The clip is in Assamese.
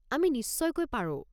আমি নিশ্চয়কৈ পাৰো।